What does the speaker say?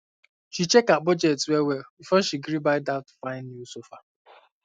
she check her budget well well before she gree buy um that fine um new sofa um